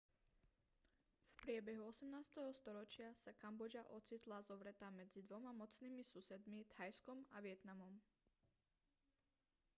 v priebehu 18. storočia sa kambodža ocitla zovretá medzi dvoma mocnými susedmi thajskom a vietnamom